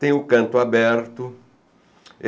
Tem o Canto Aberto.